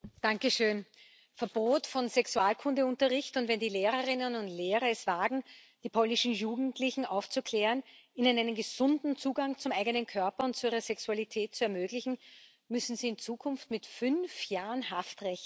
Herr Präsident! Verbot von Sexualkundeunterricht und wenn die Lehrerinnen und Lehrer es wagen, die polnischen Jugendlichen aufzuklären, ihnen einen gesunden Zugang zum eigenen Körper und zu ihrer Sexualität zu ermöglichen, müssen sie in Zukunft mit fünf Jahren Haft rechnen?